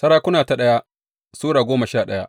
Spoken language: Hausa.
daya Sarakuna Sura goma sha daya